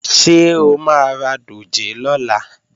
Ṣé o máa ra dòjé lọ́la?